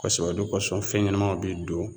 Kɔsɛbɛ o de kosɔn fɛn ɲɛnɛmaw bi don